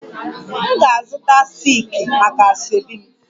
M ga-azụta silki maka asoebi m